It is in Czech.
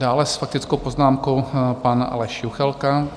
Dále s faktickou poznámkou pan Aleš Juchelka.